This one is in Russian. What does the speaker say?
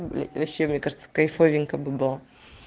вообще мне кажется кайфовенько бы было